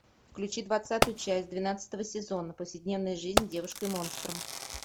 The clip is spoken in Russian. включи двадцатую часть двенадцатого сезона повседневная жизнь с девушкой монстром